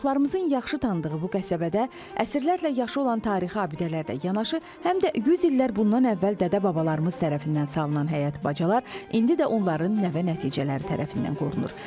Çoxlarımızın yaxşı tanıdığı bu qəsəbədə əsrlərlə yaşı olan tarixi abidələrlə yanaşı, həm də 100 illər bundan əvvəl dədə-babalarımız tərəfindən salınan həyat bacalar indi də onların nəvə-nəticələri tərəfindən qorunur.